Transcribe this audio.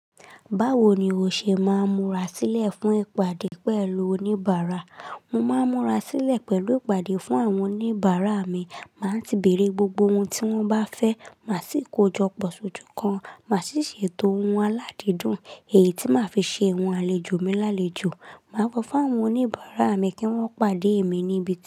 Báwo ni o ṣe máa ń múra sílẹ̀ fún ìpàdé pẹ̀lú oníbàárà? Mo máa ń múra sílẹ̀ pẹ̀lú ìpàdé fún àwọn oníbàárà mi, màá ti bèèrè gbogbo ohun tí wọ́n bá fẹ́, màá sì kojọpọ̀ sójú kan, màá sì ṣètò ohun aládìídùn èyí tí màá fi ṣe ohun àlejò mi lálejò. Màá sọ́ fún àwọn oníbàárà mi kí wọ́n pàdé mi níbi kan.